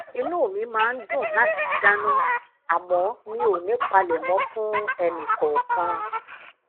inú mi máa ń dùn láti dana àmó mi ò ní palemo fun eni kookan